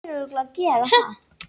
Baldvin Elís Arason.